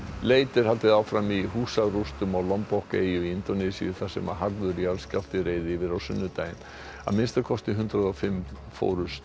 leit er haldið áfram í húsarústum á eyju í Indónesíu þar sem harður jarðskjálfti reið yfir á sunnudaginn að minnsta kosti hundrað og fimm fórust